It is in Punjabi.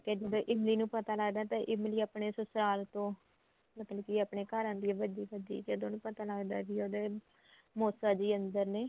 ਜਦੋਂ ਇਮਲੀ ਨੂੰ ਪਤਾ ਲੱਗਦਾ ਤਾਂ ਇਮਲੀ ਆਪਣੇ ਸੁਸਰਾਲ ਤੋਂ ਮਤਲਬ ਕੀ ਆਪਣੇ ਘਰ ਆਂਦੀ ਏ ਭੱਜੀ ਭੱਜੀ ਜਦੋਂ ਉਹਨੂੰ ਪਤਾ ਲੱਗਦਾ ਕੀ ਉਹਦੇ ਮੋਸਾ ਜੀ ਅੰਦਰ ਨੇ